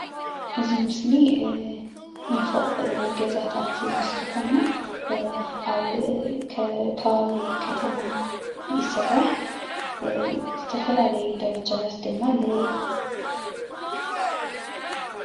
እዚ ምስሊ ናይ ፎቅ ገዛታት ምስሊ ኮይኑ ኣብ ከባቢ ከተማ የስራሕ ዝተፈላለዩ ደረጃታታት ድማ ኣለዉዎ።